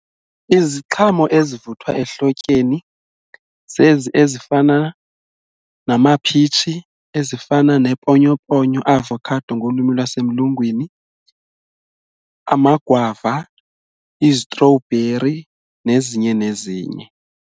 Iziqhamo ezivuthwa ehlotyeni zezi ezifana namaphitshi, ezifana neeponyoponyo avocado ngolwimi lwasemlungwini, amagwava, izitrowbheri nezinye nezinye.